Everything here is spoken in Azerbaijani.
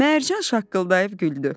Mərcan şaqqıldayıb güldü.